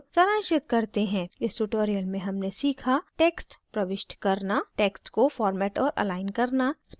इस tutorial में हमने सीखा